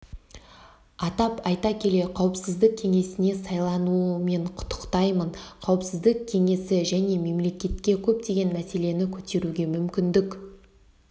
атап айта келе қауіпсіздік кеңесіне сайлануымен құттықтаймын қауіпсіздік кеңесі жас мемлекетке көптеген мәселені көтеруге мүмкіндік